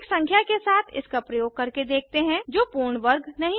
एक संख्या के साथ इसका प्रयोग करके देखते हैं जो पूर्ण वर्ग नहीं है